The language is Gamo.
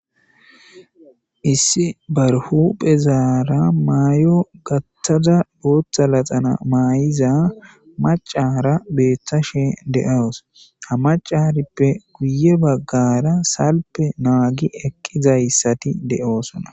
issi barhu phezaara maay7o gattada booththa laxana maayiza macara beeththa she de7awus hamacarippe guye baggara salpe naagi eqqizayssati de7oosona